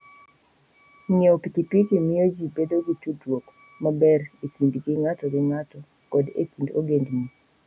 Ng'iewo pikipiki miyo ji bedo gi tudruok maber e kindgi ng'ato gi ng'ato koda e kind ogendini.